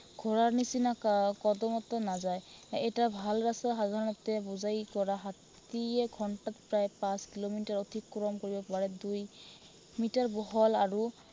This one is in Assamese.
ঘোঁৰাৰ নিচিনা আহ কদমতো নাযায়। এটা ভাল জাতৰ সাধাৰণতে বোজাই কৰা হাতীয়ে ঘন্টাত প্ৰায় পাঁচ কিলোমিটাৰ অতিক্ৰম কৰিব পাৰে। দুই মিটাৰ বহল আৰু